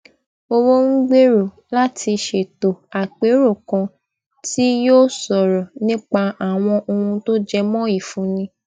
owó ń gbèrò láti ṣètò àpérò kan tí yóò sọrọ nípa àwọn ohun tó jẹ mọ ìfúnni